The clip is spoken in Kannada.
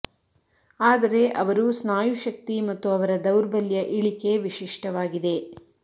ಆದರೆ ಅವರು ಸ್ನಾಯು ಶಕ್ತಿ ಮತ್ತು ಅವರ ದೌರ್ಬಲ್ಯ ಇಳಿಕೆ ವಿಶಿಷ್ಟವಾಗಿದೆ